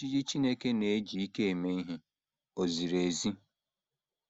Ojiji Chineke Na - eji Ike Eme Ihe Ò Ziri Ezi?